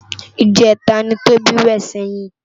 Ijètá ni Toba wè sèyin